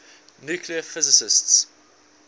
nuclear physics